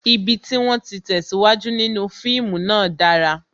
Ibi tí wón ti tesiwaju nínú fíìmù náà dára